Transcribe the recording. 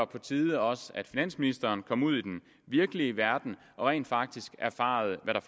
på tide at også finansministeren kommer ud i den virkelige verden og rent faktisk erfarer hvad der